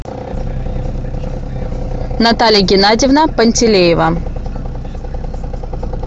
наталья геннадьевна пантелеева